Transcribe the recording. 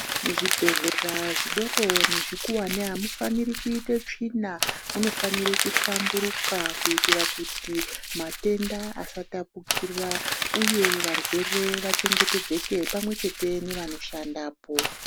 Muzvibhedhlera zvidoko nezvikuwani amufaniri kuite tsvina munofana kuhlamburuka kuitira kuti matenda asatapukira uye varwere vachengetedzeke pamwechete nevanoshandapo.